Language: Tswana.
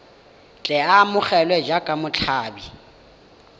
tle a amogelwe jaaka motshabi